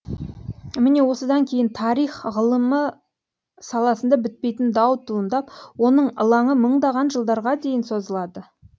міне осыдан кейін тарих ғылымы саласында бітпейтін дау туындап оның ылаңы мыңдаған жылдарға дейін созылады